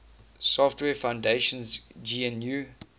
software foundation's gnu